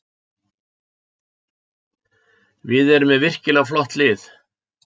Við erum með virkilega flott lið